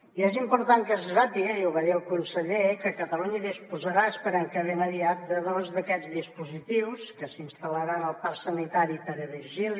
i és important que se sàpiga i ho va dir el conseller que catalunya disposarà esperem que ben aviat de dos d’aquests dispositius que s’instal·laran al parc sanitari pere virgili